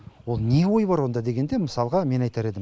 ол не ой бар онда дегенде мысалға мен айтар едім